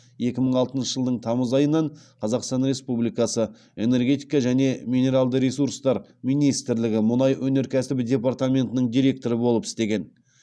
екі мың алтыншы жылдың тамыз айынан қазақстан республикасы энергетика және минералды ресурстар министрлігі мұнай өнеркәсібі департаментінің директоры болып істеген